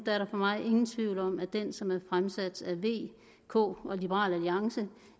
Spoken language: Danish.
er der for mig ingen tvivl om at det som er fremsat af v k og liberal alliance